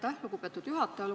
Aitäh, lugupeetud juhataja!